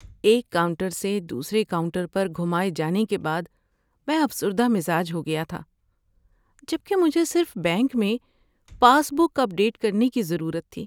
ایک کاؤنٹر سے دوسرے کاؤنٹر پر گھمائے جانے کے بعد میں افسردہ مزاج ہو گیا تھا جبکہ مجھے صرف بینک میں پاس بک اپ ڈیٹ کرنے کی ضرورت تھی۔